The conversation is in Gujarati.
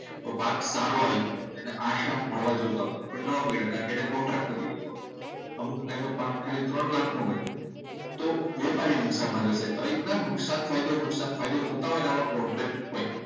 તો પાક સારો હોય છે અને આ શાક મળવા જોતા હતા પણ ન મળ્યા કારણકે એને કોન્ટ્રાક્ટ કરી દીધો હતો. અમુક ટાઈમે પાક ખાલી ત્રણ લાખનો હોય. તો વેપારી નુકસાનમાં જશે તો આ રીતે નુકસાન ફાયદો નુકસાન ફાયદો થતા હોય અને આવા કોન્ટેક્ટ હોય.